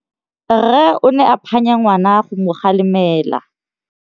Rre o ne a phanya ngwana go mo galemela.